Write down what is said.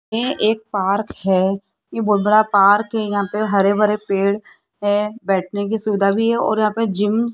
ये एक पार्क है ये बहोत बड़ा पार्क यहां पे हरे-भरे पेड़ है बैठने की सुविधा भी है और यहां पे जिम --